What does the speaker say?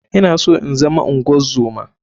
I na so inzama ungozoma.